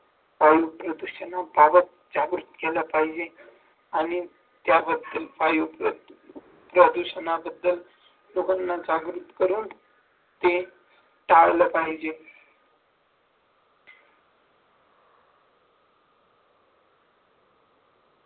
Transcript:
वायु प्रदूषणाबाबत ज्या गोष्टी आल्या पाहिजेत आणि त्याबद्दल काही उपयुक्त प्रदूषणाबद्दल लोकांना जागृत करून ते टाळलं पाहिजे